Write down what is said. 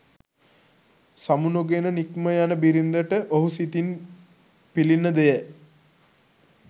සමුනොගෙන නික්ම යන බිරිඳට ඔහු සිතින් පිළිණ දෙය